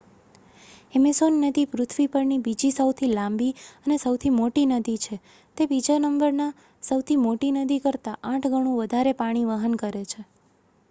Amazon નદી પૃથ્વી પરની બીજી સૌથી લાંબી અને સૌથી મોટી નદી છે તે બીજા નંબરની સૌથી મોટી નદી કરતાં 8 ગણું વધારે પાણી વહન કરે છે